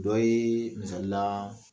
Dɔ yee misali laa